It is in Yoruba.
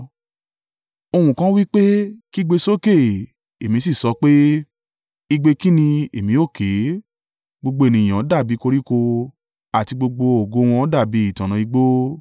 Ohùn kan wí pé, “Kígbe sókè.” Èmi sì sọ pé, “Igbe kí ni èmi ó ké?” “Gbogbo ènìyàn dàbí i koríko, àti gbogbo ògo wọn dàbí ìtànná igbó.